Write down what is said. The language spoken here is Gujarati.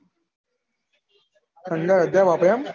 પંદર હજાર વાપર્યા એમ